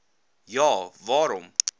ja a waarom